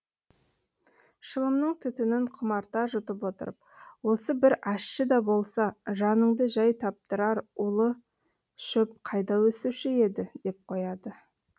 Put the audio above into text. шылымның түтінін құмарта жұтып отырып осы бір ащы да болса жаныңды жай таптырар улы шөп қайда өсуші еді деп қояды